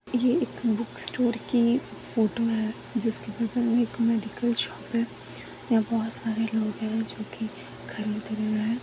यह एक book store की फोटो है जिसके बगल मे एक मेडिकल शॉप है वह बहोत सारे लोग है जोकि खरीद रहे है।